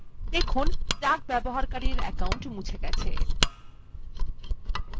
দেখুন duck ব্যবহারকারীর account মুছে গেছে